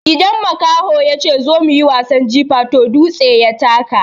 Idan makaho yace "zo mu yi wasan jifa" toh dutse ya taka.